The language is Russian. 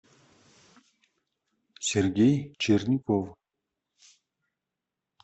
сергей черников